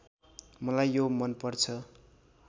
मलाई यो मनपर्छ